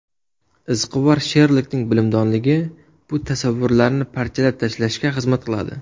Izquvar Sherlokning bilimdonligi bu tasavvurlarni parchalab tashlashga xizmat qiladi.